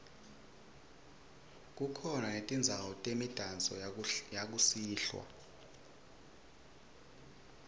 kukhona netindzawo temidanso yakusihlwa